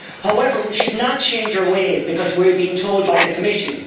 However, we should not change our ways because we are being told to do so by the Commission.